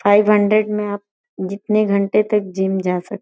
five hundred में आप जितने घंटे तक जिम जा सक --